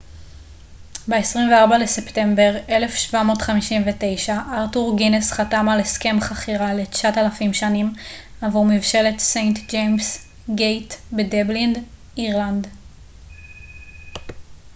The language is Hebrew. ב-24 לספטמבר 1759 ארתור גינס חתם על הסכם חכירה ל-9,000 שנים עבור מבשלת סיינט ג'יימס גייט בדבלין אירלנד